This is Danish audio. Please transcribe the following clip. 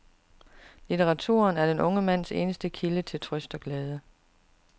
Litteraturen er den unge mands eneste kilde til trøst og glæde.